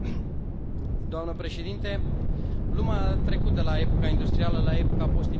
Doamnă președintă, lumea a trecut de la epoca industrială la epoca post industrială.